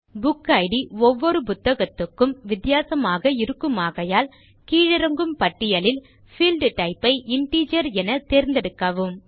புக்கிட் ஒவ்வொரு புத்தகத்துக்கும் வித்தியாசமாக இருக்குமாகையால் கீழிறங்கும் பட்டியலில் பீல்ட் டைப் ஐ இன்டிஜர் என தேர்ந்தெடுக்கவும்